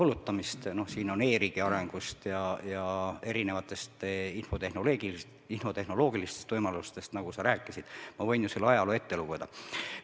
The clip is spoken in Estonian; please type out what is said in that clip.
Siin on juttu e-riigi arengust ja erinevatest infotehnoloogilistest võimalustest, nagu sa rääkisid, ma võin ju sulle ajaloo ette lugeda.